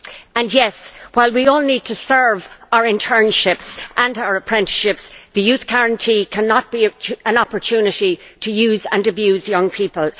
And yes, while we all need to serve our internships and our apprenticeships, the Youth Guarantee cannot be an opportunity to use and abuse young people.